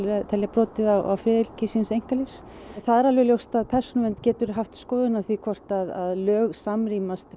telja brotið á friðhelgi síns einkalífs það er ljóst að Persónuvernd getur haft skoðun á því hvort að lög samrýmast